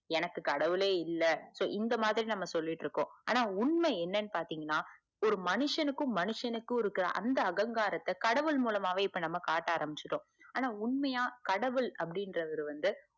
எனக்கு கடவுளே இல்ல இந்த மாதிரி சொல்லிட்டு இறுகோம் ஆனா உண்மை என்னென்னுபாத்தீங்கனா ஒரு மனுசனுக்கும் மனுசனுக்கும் அந்த அகங்காரத்த கடவுள் மூலமாவே இப்போ நம்ம காட்ட ஆரம்பிச்சிட்டோம் உண்மையா கடவுள் அபுடிங்குரவர் வந்து